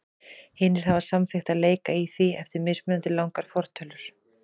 Hinir hafa samþykkt að leika í því eftir mismunandi langar fortölur.